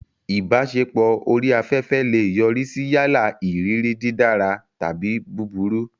Ìbáṣepọ̀ orí afẹ́fẹ́ lè yọrí sí yálà ìrírí dídára tàbí búburú.